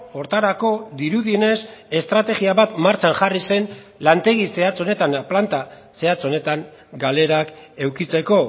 horretarako dirudienez estrategia bat martxan jarri zen lantegi zehatz honetan planta zehatz honetan galerak edukitzeko